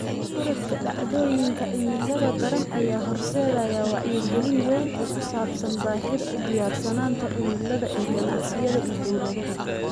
Korodhka dhacdooyinka cimilada daran ayaa horseedaya wacyigelin weyn oo ku saabsan baahida u diyaarsanaanta cimilada ee ganacsiyada iyo dawladaha.